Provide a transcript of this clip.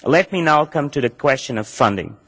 Let me now come to the question of funding.